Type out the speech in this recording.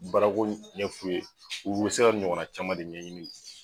Baarako ɲɛ f'u ye u be se ka nin ɲɔgɔnna caman de ɲɛɲini ye